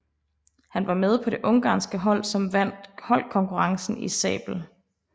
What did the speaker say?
Han var med på det ungarske hold som vandt holdkonkurrencen i sabel